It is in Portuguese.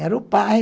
Era o pai.